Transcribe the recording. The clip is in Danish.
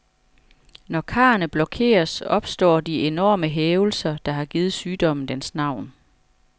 Når karrene blokeres, opstår de enorme hævelser, der har givet sygdommen dens navn.